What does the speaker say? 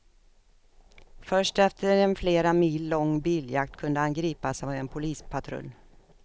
Först efter en flera mil lång biljakt kunde han gripas av en polispatrull.